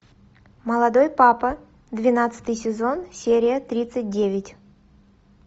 молодой папа двенадцатый сезон серия тридцать девять